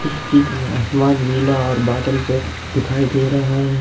इस चित्र में आसमान नीला और बादल से दिखाई दे रहा है।